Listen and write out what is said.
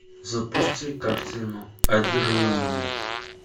запусти картину одержимые